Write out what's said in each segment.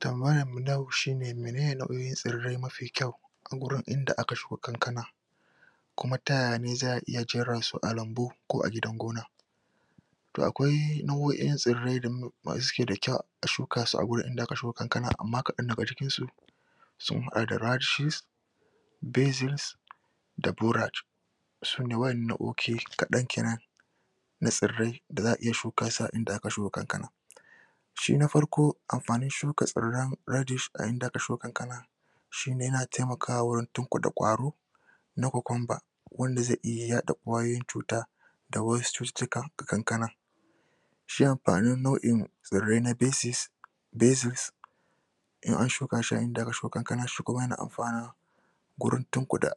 tambayan mu na yau shine menene nauyin tsirre mafi kyau a gurin inda aka siyo kankana kuma ta yaya ne za'a iya jera su a lambu ko a gidan gona to akwai nau'in tsirrai da da suke da kyau a shuka su a gurin da aka siyo kankana amma ƙadan daga jikin su sun hada da basics da boraj sune kadan kenan na tsirrai da za'a iya shuka su a inda aka siyo kankana shi na farko mafanin shuka tsirran inda aka siyo kankana shine yana taimkawa wajen tukude kwaro na cucumber wanda zai yada yayi cuta da wasu cututtukan na kankana shi amfanin nau'in tsirrai na basis basics in an shuka shi an inda aka siyo kanka shima yana amfana gurin tukude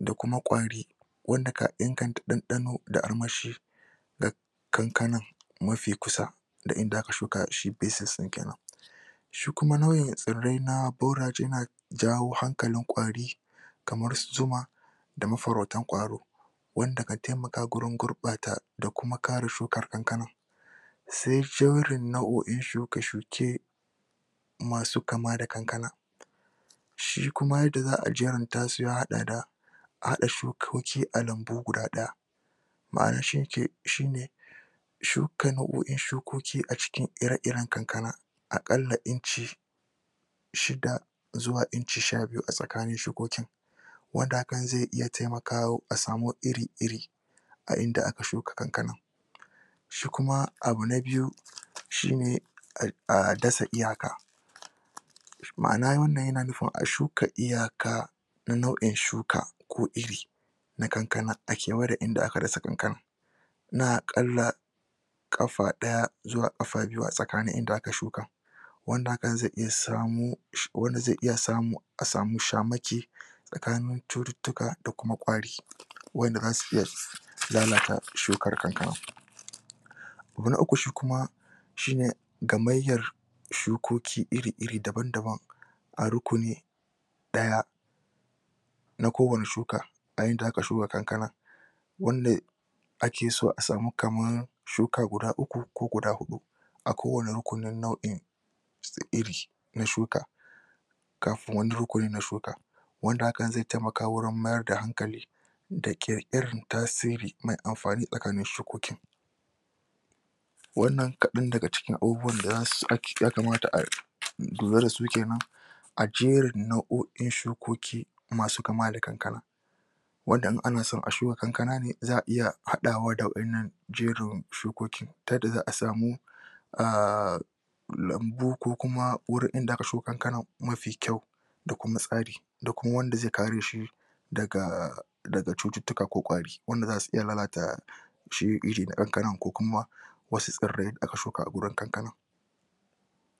da kuma kwari wanda ka inganta ɗaɗano da armashi ga kankanan mafi kusa inda aka shuka shi basics ɗin kenan shi kuma nau'in tsirrai na boraj yana jawo hankalin kwari kamar su zuma da mafarautan kwaro wanda kan taimaka gurbata da kuma kare shukan kankanan sai jerin nau'oin shuke shuke masu kama da kankana shi kuma yadda za'a jeranta su ya haɗa da haɗa shukoki a lambu guda ɗaya ba rashin shi kano gurin shukoki a cikin ira iren kankana a qalla inci shida zuwa inci sha biyu a tsakanin shukokin wanda hakan zai iya taimakawa kasamu iri iri a inda aka shuka kankanan shi kuma abu na biyu shine a dasa ma'ana wannan yana nufin a shuka iya kan nau; in shuka ko iri na kankana a kewa da inda aka shuka kankanan na a ƙalla ƙafa daya zuwa ƙafa biyu a tsakanin inda aka shuka wanda hakan zai iya samo wanda zai iya samo a samo sha make tsakanin cututtuka da kuma kwari wanda zasu iya lalata shukar kankana abu na uku shi kuma shine ka maiyar shukoki iri iri daban daban a rukuni daya na gubar shuka a inda aka shuka kankana wanda ake so a samu kaman shuka guda uku ko guda hudu a kowani rukunin nau'in iri na shuka kafin wannan rukunin na shuka wanda hakan zai taimaka warin mayar da hankali da ƙirƙiran tasiri mai mafani tsakanin shukoki wannan ƙadan daga cikin abubuwan da ya kamata a kula da su kenan a jerin nau'oin shukoki masu kama da kankana wanda in ana sawa a shukan kankanan ne za'a iya hada wa da wa 'yan nan jerin shukokin ta yadda za'a samo a lambu ko kuma inda aka siyo kankanan mafi kyau da kuma tsari da kuma wanda zai ƙaru dashi daga cututtuka ko kwari wanda zasu iya lalata sheri iri ƙadan ƙadan ko kuma wasu tsirrai aka shuka a gurin kanka